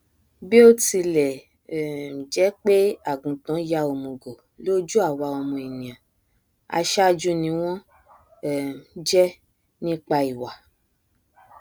bíótilẹ um jẹpé àgùntàn ya òmùgọ lójú àwa ọmọ ènìà aṣáájú ni wọn um jẹ nípa ìwà